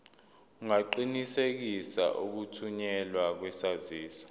ungaqinisekisa ukuthunyelwa kwesaziso